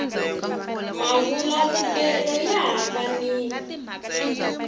mavula vulelo ya hambanile